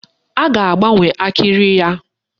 A ga-agbanwe akịrị ya.